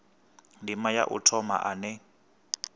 ndima ya u thoma ane